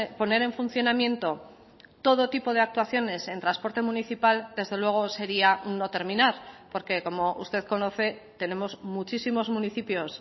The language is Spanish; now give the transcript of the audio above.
poner en funcionamiento todo tipo de actuaciones en transporte municipal desde luego sería un no terminar porque como usted conoce tenemos muchísimos municipios